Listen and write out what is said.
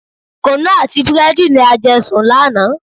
Kunu àti búrẹ́dì ni a jẹ sùn lánàá.